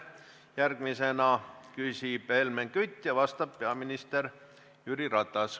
Järgmisena küsib Helmen Kütt ja vastab peaminister Jüri Ratas.